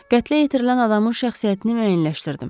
Qətlə yetirilən adamın şəxsiyyətini müəyyənləşdirdim.